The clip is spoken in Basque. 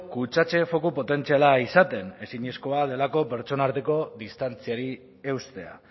kutsatze foku potentziala izaten ezinezkoa delako pertsonen arteko distantziari eustea